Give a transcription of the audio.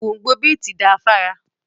Gbóǹgbò bíìtì da fára.